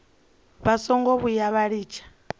vha songo vhuya vha litsha